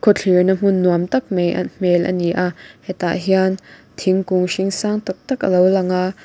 khawthlir na hmun nuam tak mai hmel ani a hetah hian thingkung hring sang taktak alo lang a.